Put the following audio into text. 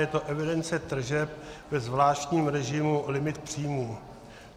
Je to evidence tržeb ve zvláštním režimu - limit příjmů.